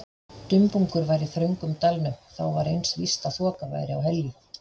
Dumbungur var í þröngum dalnum, þá var eins víst að þoka væri á Helju.